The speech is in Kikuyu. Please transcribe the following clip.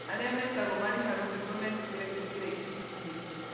Arĩa metagwo marihagwo nĩguo metĩkĩre kũingĩra ibindi-inĩ.